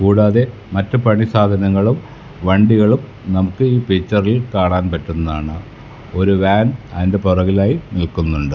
കൂടാതെ മറ്റു പണി സാധനങ്ങളും വണ്ടികളും നമുക്കീ പിക്ച്ചറിൽ കാണാൻ പറ്റുന്നതാണ് ഒരു വാൻ അതിൻ്റെ പുറകിലായി നിൽക്കുന്നുണ്ട്.